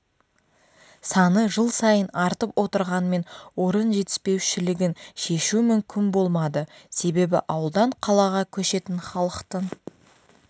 саны жыл сайын артып отырғанымен орын жетіспеушілігін шешу мүмкін болмады себебі ауылдан қалаға көшетін халықтың